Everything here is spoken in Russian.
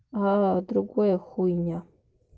аа другое хуйня